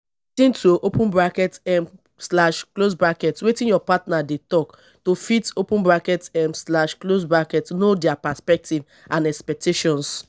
lis ten to um wetin your partner dey talk to fit um know their perspective and expectations